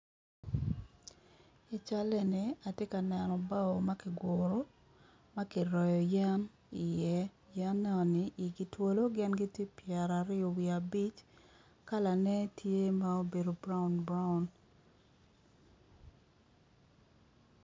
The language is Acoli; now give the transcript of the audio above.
I cal eni atye ka neno bao ma kiguru ma kiroyo yen i iye yen egoni igi twolo gin gitye pyeraryo wiye abic kalane tye mubedo brown brown.